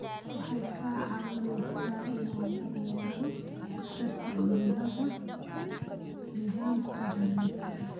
Waxay kaa caawinaysaa in la yareeyo khatarta cudurrada nidaamka dareenka.